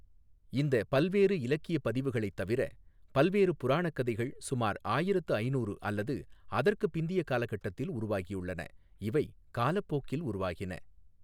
இந்த பல்வேறு இலக்கியக் பதிவுகளைத் தவிர, பல்வேறு புராணக் கதைகள் சுமார் ஆயிரத்து ஐநூறு அல்லது அதற்கு பிந்தையக் காலகட்டத்தில் உருவாகியுள்ளன, இவை காலப்போக்கில் உருவாகின.